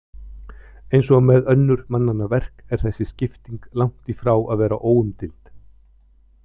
Eins og með önnur mannanna verk er þessi skipting langt frá því að vera óumdeild.